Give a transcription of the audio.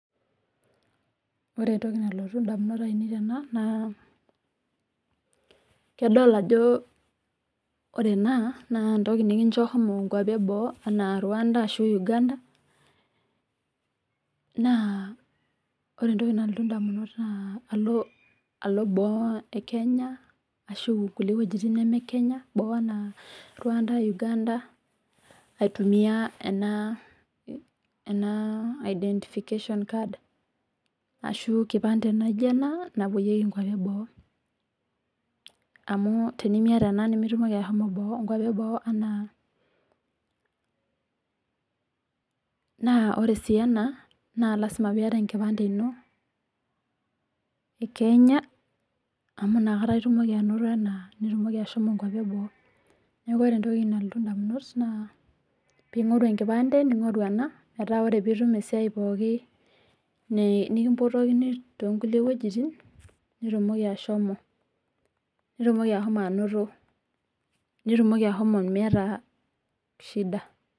Ore entoki nalotu indamunot ainei tena. Naa idol ajo ore naa entoki nikincho shomo nkuapi eboo anaa Rwanda ashuu Uganda. Naa ore entoki nalotu ndamunot naa alo boo e Kenya ashuu kulie wuejitin neme Kenya anaa Rwanda, Uganda aitumia ena identification card ashuu enkipante naijo ena napoyieki nkuapi eboo. Amu tinimiata ena nimitumoki asho nkuapi eboo naa. Ore sii ena lasima peyie iyata enkipante ino e Kenya, amu ina itumoki anoto ena nitumoki ashomo nkuapi eboo. Naa ore entoki nalotu ndamunot naa peyie ingoru enkipande ningorru ena paa tenelo nitum esiai pooki nikimpotokini too nkulie wuejitin nitumoki ashomo. Nitumoki ashomo anoto. Nitumoki ashomo niata shida